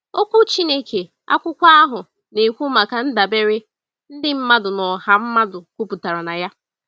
Okwu Chineke, akwụkwọ ahụ, na-ekwu maka “ndabere” ndị mmadụ na ọha mmadụ kwụpụtara na ya.